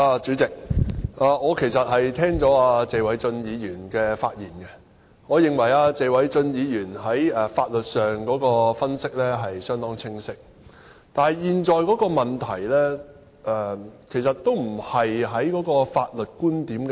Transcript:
主席，聽罷謝偉俊議員的發言，我認為他在法律上的分析相當清晰，但現時的問題並非法律觀點的爭議。